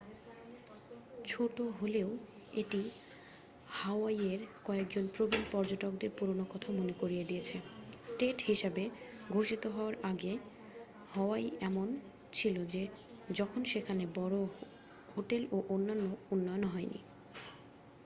ছোট হলেও এটি হাওয়াইয়ের কয়েকজন প্রবীণ পর্যটকদের পুরনো কথা মনে করিয়ে দিয়েছে স্টেট হিসাবে ঘোষিত হওয়ার আগে হাওয়াই এমনই ছিল যখন সেখানে বড় হোটেল ও অন্যান্য উন্নয়ন হয়নি